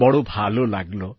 বড় ভালো লাগল